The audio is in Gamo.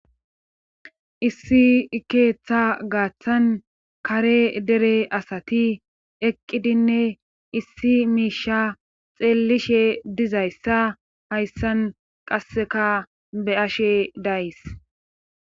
issi keeththa gaaththan kare dere asati eqqidinne issi miisha xeellishe dizayssa hayssan qasseka be'ashe days.